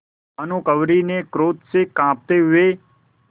भानुकुँवरि ने क्रोध से कॉँपते हुए